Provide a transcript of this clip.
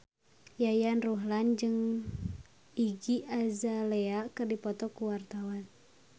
Yayan Ruhlan jeung Iggy Azalea keur dipoto ku wartawan